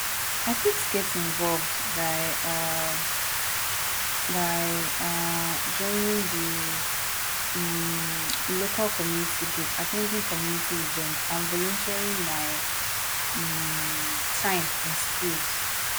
i fit get involved by um by um joining di um local community group at ten ding community events and volunteering my um time and skills